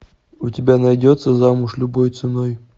у тебя найдется замуж любой ценой